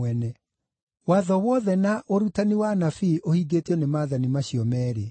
Watho wothe na ũrutani wa Anabii ũhingĩtio nĩ maathani macio meerĩ.”